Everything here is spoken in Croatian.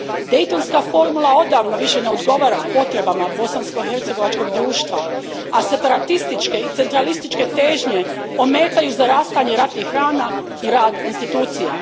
Dejtonska formula odavno više ne odgovara potrebama bosanskohercegovačkog društva, a separatističke i centralističke težnje ometaju zarastanje ratnih rana i rad institucija.